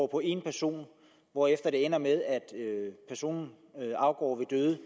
på en person hvorefter det ender med at personen afgår ved